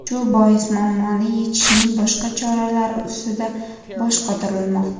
Shu bois muammoni yechishning boshqa choralari usida bosh qotirilmoqda.